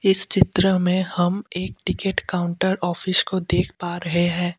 इस चित्र में हम एक टिकट काउंटर ऑफिस को देख पा रहे हैं।